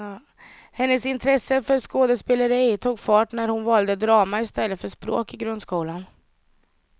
Hennes intresse för skådespeleri tog fart när hon valde drama istället för språk i grundskolan.